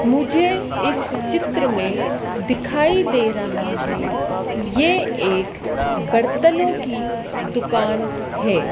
मुझे इस चित्र में दिखाई दे रहा है ये एक बर्तनों की दुकान है।